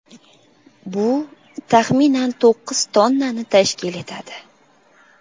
Bu, taxminan, to‘qqiz tonnani tashkil etadi.